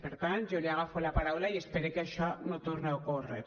per tant jo li agafo la paraula i espere que això no torni a ocórrer